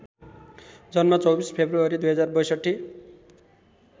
जन्म २४ फेब्रुअरी २०६२